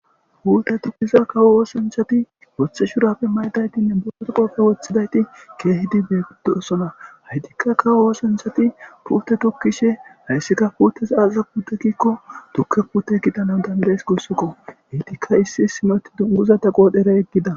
hulte tukkiza kawo oosanchati woththe shurapfe maydaytinne boote qopfe wothidayti keehidi beeguddo osona haytikka kawo woosanchati pute tukkishe hayssika puutteza aaza putekikko tukke pute kidanan dandayes gussukoheytikka issi simoti dunguza ta qoodhera yeggida